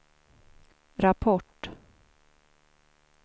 rapport